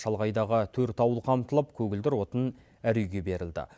шалғайдағы төрт ауыл қамтылып көгілдір отын әр үйге берілді